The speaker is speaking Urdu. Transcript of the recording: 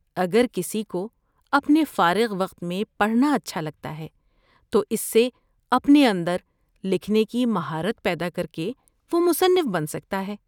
اگر کسی کو اپنے فارغ وقت میں پڑھنا اچھا لگتا ہے تو اس سے اپنے اندر لکھنے کی مہارت پیدا کرکے وہ مصنف بن سکتا ہے۔